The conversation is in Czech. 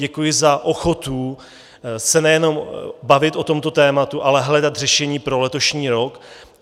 Děkuji za ochotu se nejenom bavit o tomto tématu, ale hledat řešení pro letošní rok.